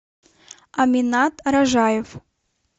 аминат ражаев